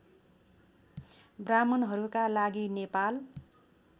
ब्राह्मणहरूका लागि नेपाल